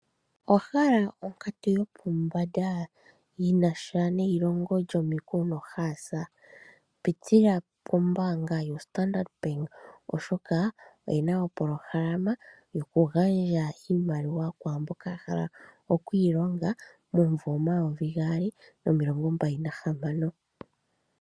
Owa hala onkatu yopombanda? Yinasha neilongo lyomiku noohaasa? Pitila pombaanga yoStandard Bank oshoka oyi na opolohalama yokugandja iimaliwa kwaamboka ya hala okwiilonga momumvo omayovi gaali nomilongo mbali nahamano.